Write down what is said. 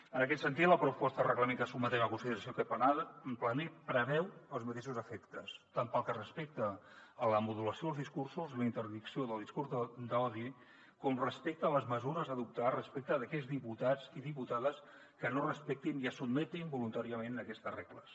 en aquest sentit la proposta de reglament que sotmetem a consideració plenària preveu els mateixos efectes tant pel que respecta a la modulació dels discursos la interdicció del discurs d’odi com respecte a les mesures a adoptar respecte d’aquells diputats i diputades que no respectin i es sotmetin voluntàriament a aquestes regles